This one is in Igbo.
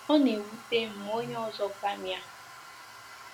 Ọ na-ewute m ma onye ọzọ gwa m ya.”